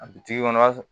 A bi kɔnɔ i b'a